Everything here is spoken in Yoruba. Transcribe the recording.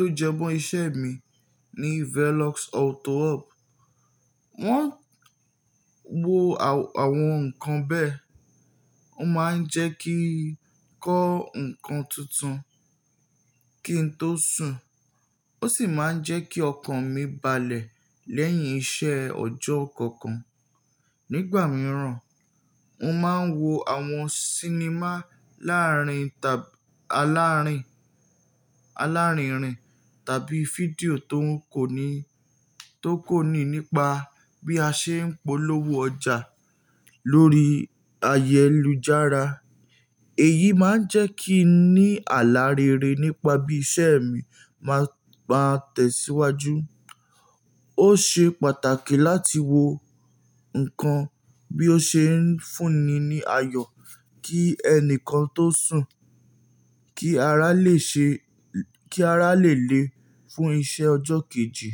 tó jẹ mọ́ iṣẹ́ mi ní Velox Auto Hub. Wọ́n wo àwọn nǹkan bẹ́ẹ̀, ó máa ń jẹ́ kí n kọ́ nǹkan tuntun kí n tó sùn, ó sì máa ń jẹ́ kí ọkàn mi balẹ̀ lẹ́yìn iṣẹ́ ọjọ́ kankan. Nígbà mìíràn, mo máa ń wo àwọn sinimá laarin alárìnrìn tàbí fídíò tó kò ní nípa bí a ṣe ń polówó ọjà lórí ayélujára. Èyí máa ń jẹ́ kí n ní àlá rere nípa bí iṣẹ́ mi máa tẹ̀síwájú. Ó ṣe pàtàkì láti wo nǹkan bí ó ṣe ń fúnni ní ayọ̀ kí ẹni kan tó sùn kí ará lè le fún iṣẹ́ ọjọ́ kejì.